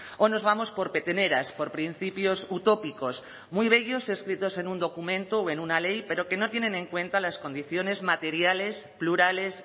o nos vamos por peteneras por principios utópicos muy bellos escritos en un documento o en una ley pero que no tienen en cuenta las condiciones materiales plurales